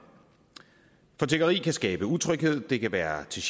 for tiggeri kan skabe utryghed det kan være til